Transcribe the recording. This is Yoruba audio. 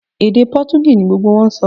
Èdè Potogí ni gbogbo wọn ń sọ